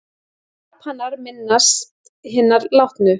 Japanar minnast hinna látnu